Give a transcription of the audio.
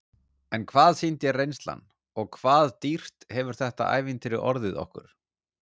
En hvað sýndi reynslan og hvað dýrt hefur þetta ævintýri orðið okkur?